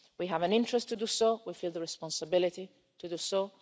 We have an interest to do so, we feel the responsibility to do so.